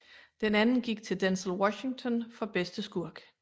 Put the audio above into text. Den anden gik til Denzel Washington for bedste skurk